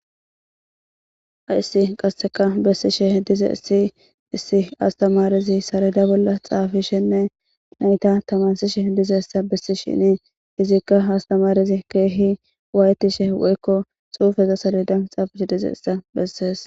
Hayssi qasseka bessishe dizayssi issi astamaarezi saleeda bolla xaafishenne Naya tamarssishe bessishini izika ha astamaarezi keehi waayettishe woykko xuufeza saleda bolla xaafishe dizayssa bessees.